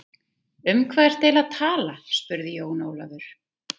Um hvað ertu eiginlega að tala spurði Jón Ólafur.